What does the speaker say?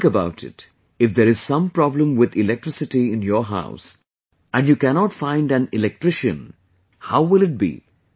Think about it, if there is some problem with electricity in your house and you cannot find an electrician, how will it be